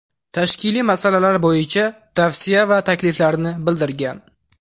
Tashkiliy masalalar bo‘yicha tavsiya va takliflarini bildirgan.